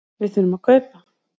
Við þurfum að kaupa.